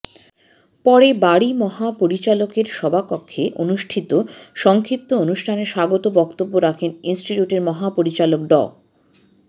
পরে বারি মহাপরিচালকের সভাকক্ষে অনুষ্ঠিত সংক্ষিপ্ত অনুষ্ঠানে স্বাগত বক্তব্য রাখেন ইনস্টিটিউটের মহাপরিচালক ড